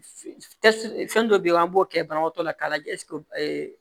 Fɛn dɔ be yen an b'o kɛ banabaatɔ la k'a lajɛ